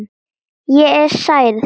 Ég er særð.